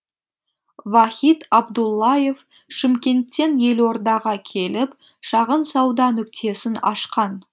вахит абдуллаев шымкенттен елордаға келіп шағын сауда нүктесін ашқан